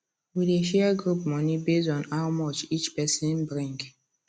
we dey share group money base on how much each person bring